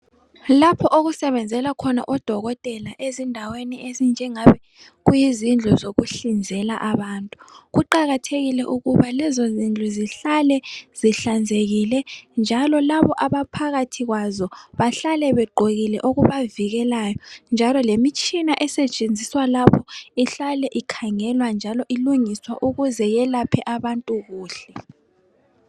Lapho okusebenzela khona odokotela ezindaweni ezinjengebe kuyizindlu zokuhlinzeka abantu kuqakathekile ukuba lezo zindlu zihlale zihlanzekile njalo labo abaphathi kwazo bahlale begokile okubavikelayo njalo lemishina esetshenziswa lapho ihlale ikhangelwa njalo ilungiswa ukuze iyephe abantu kuhle.